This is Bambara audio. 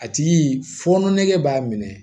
A tigi fɔ ne b'a minɛ